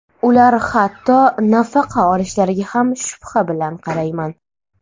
Ular hatto nafaqa olishlariga ham shubha bilan qarayman.